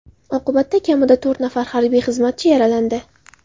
Oqibatda kamida to‘rt nafar harbiy xizmatchi yaralandi.